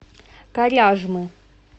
коряжмы